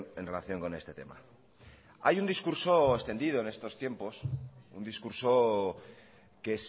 en relación con este tema hay un discurso extendido en estos tiempos un discurso que